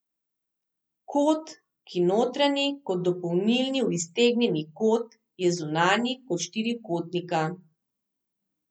Kot, ki notranji kot dopolni v iztegnjeni kot, je zunanji kot štirikotnika.